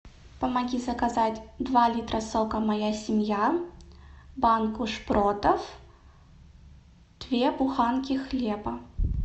помоги заказать два литра сока моя семья банку шпротов две буханки хлеба